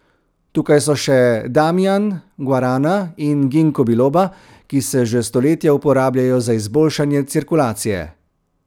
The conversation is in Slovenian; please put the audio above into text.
Tukaj so še damian, guarana in ginkgo biloba, ki se že stoletja uporabljajo za izboljšanje cirkulacije.